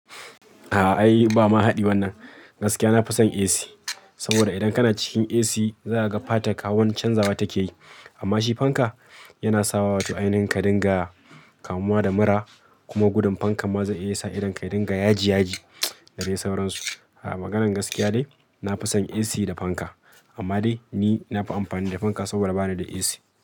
Ah ai ba ma haɗi wannan. Gaskiya na fi son AC saboda idan kana cikin AC za ka ga fatan ka hauwani canzawa take yi. Amma shi fanka yana sawa wato ainihin ka dinga kamuwa da mura kuma gudun fankan ma zai iya sa idan ka yadinga yaji yaji da dai sauransu. Ah maganan gaskiya de, na fi son AC da fanka. Amma dai ni na fi amfani da fanka saboda ba ni da AC.